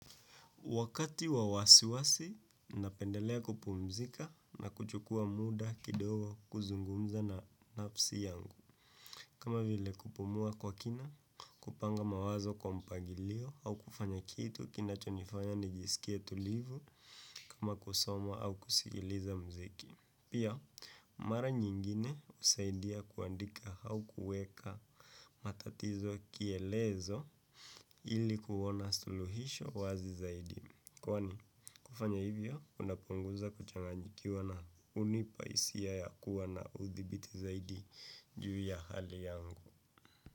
Wakati wa wasiwasi, napendelea kupumzika na kuchukua muda kidogo kuzungumza na nafsi yangu. Kama vile kupumua kwa kina, kupanga mawazo kwa mpangilio au kufanya kitu, kinachonifanya nijisikie tulivu kama kusomwa au kusikiliza muziki. Pia, mara nyingine husaidia kuandika au kuweka matatizo kielezo ili kuwa na suluhisho wazi zaidi. Kwani kufanya hivyo kunapunguza kuchanganyikiwa na hunipa hisia ya kuwa na udhibiti zaidi juu ya hali yangu.